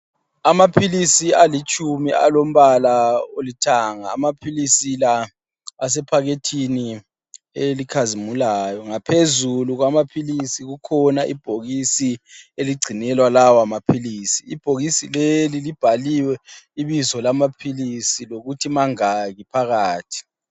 Amaphilisi alitshumi alombala olithanga, amaphilisi lawa asephakethini elikhazimulayo ngaphezulu kwamaphilisi kukhona ibhokisi eligcinelwa lawa maphilisi, ibhokisi leli libhaliwe ibizo lamaphilisi lokuthi mangaki phakathi.